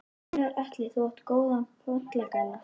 Gunnar Atli: Þú átt góðan pollagalla?